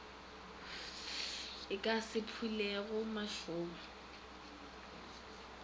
e ka se phulego mašoba